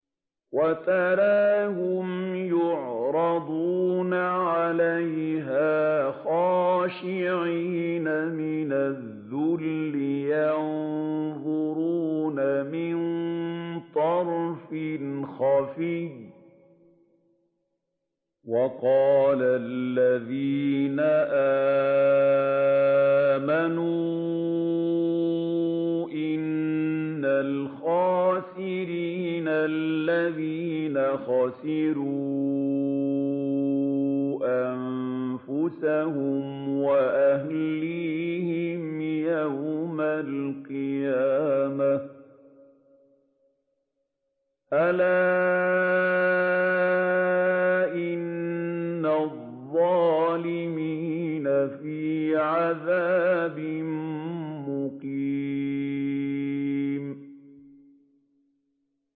وَتَرَاهُمْ يُعْرَضُونَ عَلَيْهَا خَاشِعِينَ مِنَ الذُّلِّ يَنظُرُونَ مِن طَرْفٍ خَفِيٍّ ۗ وَقَالَ الَّذِينَ آمَنُوا إِنَّ الْخَاسِرِينَ الَّذِينَ خَسِرُوا أَنفُسَهُمْ وَأَهْلِيهِمْ يَوْمَ الْقِيَامَةِ ۗ أَلَا إِنَّ الظَّالِمِينَ فِي عَذَابٍ مُّقِيمٍ